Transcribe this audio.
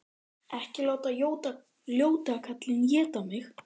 Ekki láta ljóta kallinn éta mig!